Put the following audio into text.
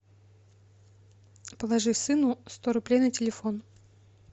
положи сыну сто рублей на телефон